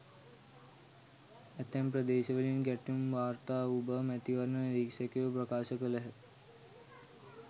ඇතැම් ප්‍රදේශවලින් ගැටුම් වාර්තා වූ බව මැතිවරණ නිරීක්ෂකයෝ ප්‍රකාශ කළහ.